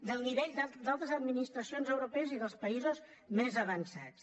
del nivell d’altres administracions europees i dels països més avançats